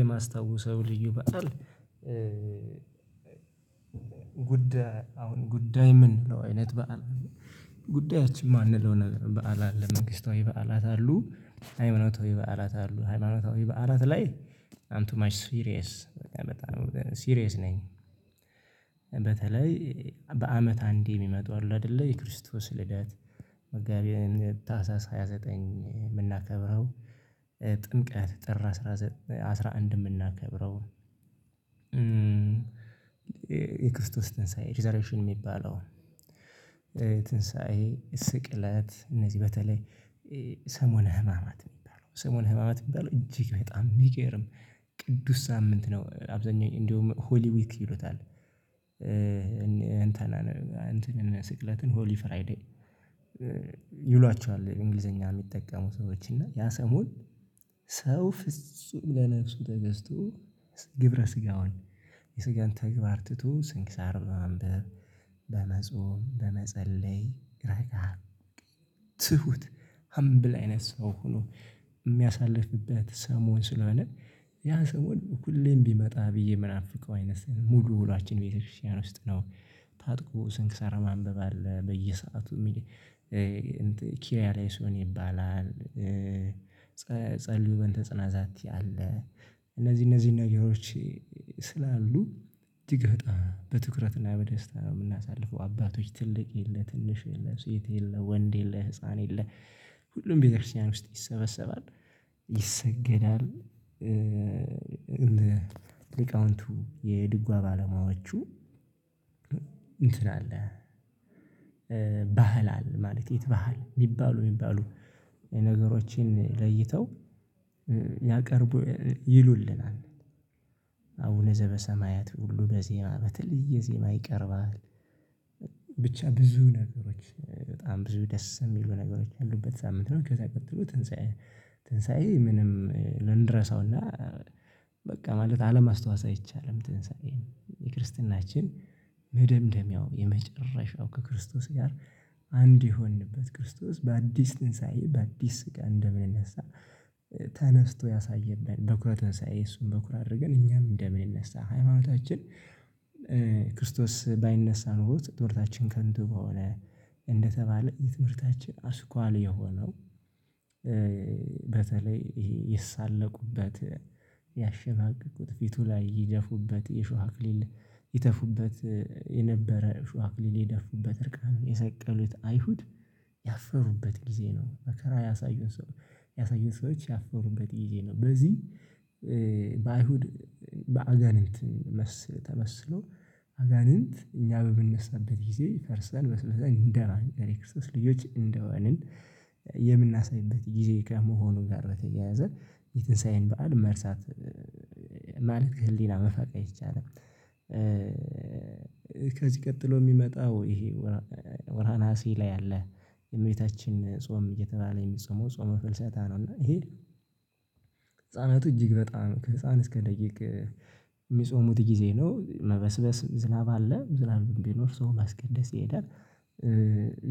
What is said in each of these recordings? የማስታውሰው ልዩ በዓል። አሁን ጉዳይ ምንለው አይነት በዓል ጉዳያችን የማንለው ነገር በዓል አለ። መንግስታዊ በዓላት አሉ ሃይማኖታዊ በዓላት አሉ ሃይማኖታዊ በዓላት ላይ አም ቱ ማች ሲሪየስ በጣም ሲሪየስ ነኝ። በተለይ በአመት አንዴ የሚመጡ አሉ አይደለ የክርስቶስ መጋቢት ታህሳስ ሃያ ዘጠኝ የምናከብረው። ጥምቀት ጥር አስራ አንድ የምናከብረው። የክርስቶስ ትንሳኤ ዘሬሽን የሚባለው። ትንሳኤ ስቅለት እነዚህ በተለይ ሰሞነ ህማማት እሚባለው ሰሞነ ህማማት እሚባለው እጅግ በጣም የሚገርም ቅዱስ ሳምንት ነው። አብዛኛው እንደውም ሆሊ ዊክ ይሉታል። እንትን ስቅለትን ሆሊ ፍራይዴይ ይሏቸዋል እንግሊዘኛ የሚጠቀሙ ሰዎች እና ያ ሰሞን። ሰው ፍጹም ለነፍሱ ተገዝቶ ግብረ ስጋውን የስጋን ተግባር ትቶ ስንክሳር በማንበብ በመጾም በመጸለይ ረጋ ትሁት ሀምብል አይነት ሰው ሆኖ የሚያሳልፍበት ሰሞን ስለሆነ። ያ ሰሞን ሁሌም ቢመጣ ብዬ ምናፍቃው አይነት ሙሉ ውሏችን ቤተክርስቲያን ውስጥ ነው። ታጥቆ ስንክሳራ ማንበብ አለ በየሰአቱ ኪሪያላይሶ ይባላል። ጸልዩ በእንተ ጽናታት አለ። እነዚህ እነዚህ ነገሮች ስላሉ እጅግ በጣም በትኩረትና በደስታ የምናሳልፈው አባቶች ትልቅ የለ ትንሽ የለ ሴት የለ ወንድ የለ ህፃን የለ ሁሉም ቤተክርስቲያን ውስጥ ይሰበሰባል። ይሰገዳል። እንደ ሊቃውንቱ የድጓ ባለሙያዎቹ እንትን አለ። ባህል አለ ማለት የት ባህል የሚባሉ የሚባሉ ነገሮችን ለይተው ያቀርቡ ይሉልናል። አቡነ ዘበሰማያት ሁሉ በዜማ በተለየ ዜማ ይቀርባል። ብቻ ብዙ ነገሮች በጣም ብዙ ደስ የሚሉ ነገሮች ያሉበት ሳምንት ነው። ከዛ ቀጥሎ ትንሳኤ ትንሳኤ ምንም ልንረሳውና በቃ ማለት አለማስታወስ አይቻልም። ትንሳኤ የክርስትናችን መደምደሚያው የመጨረሻው ከክርስቶስ ጋር አንድ የሆንበት ክርስቶስ በአዲስ ትንሳኤ በአዲስ ስጋ እንደሚነሳ። ተነስቶ ያሳየነን በኩረ ትአንሳዬ እሱን በኩር አድርገን እኛም እንደምንነሳ ሃይማኖታችን። ክርስቶስ ባይነሳ ኖሮ ትምህርታችን ከንቱ በሆነ እንደተባለ የትምህርታችን አስኳል የሆነው። በተለይ ይሄ ይሳለቁበት ያሸማቀቁት ፊቱ ላይ ይደፉበት የሾሃ አክሊል ይተፉበት የነበረ ሾሃ አክሊል የደፉበት እርቃን የሰቀሉት አይሁድ ያፈሩበት ጊዜ ነው። መከራ ያሳዩት ሰው ያሳዩት ሰዎች ያፈሩበት ጊዜ ነው። በዚህ በአይሁድ በአጋንንት መስል ተመስሎ አጋንንት እኛ በምንነሳበት ጊዜ ፈርሰን በስብሰን እንደራን የክርስቶስ ልጆች እንደሆንን የምናሳይበት ጊዜ ከመሆኑ ጋር በተያያዘ የትንሳኤን በዓል መርሳት ማለት ከህሊና መፋቅ አይቻልም። ከዚህ ቀጥሎ የሚመጣው ይሄ ወርሃ ነሀሴ ላይ ያለ የእመቤታችን ጾም እየተባለ የሚጾመው ጾመ ፍልሰታ ነው። እና ይሄ ህፃናቱ እጅግ በጣም ከህፃን እስከ ደቂቅ የሚጾሙት ጊዜ ነው። መበስበስ ዝናብ አለ ዝናብ ቢኖር ሰው ማስቀደስ ይሄዳል።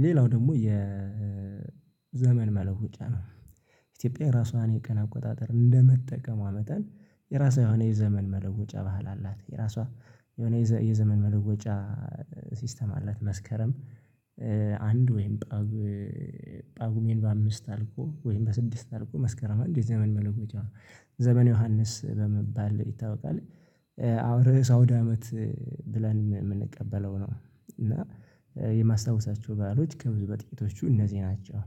ሌላው ደግሞ የዘመን መለወጫ ነው። የራሷን የቀን አቆጣጠር እንደመጠቀሟ መጠን የራሷ የሆነ የዘመን መለወጫ ባህል አላት። የራሷ የሆነ የዘመን መለወጫ ሲስተም አላት። መስከረም አንድ ወይም ጳጉሜ በአምስት አልቆ ወይም በስድስት አልቆ መስከረም አንድ የዘመን መለወጫ ነው። ዘመን ዮሐንስ በመባል ይታወቃል። አሁን ርዕስ አውድ አመት ብለን የምንቀበለው ነው። እና የማስታውሳቸው ባህሎች ከብዙ በጥቂቶቹ እነዚህ ናቸው